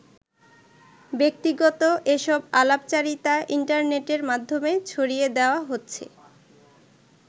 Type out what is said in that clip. ব্যক্তিগত এসব আলাপচারিতা ইন্টারনেটের মাধ্যমে ছড়িয়ে দেয়া হচ্ছে।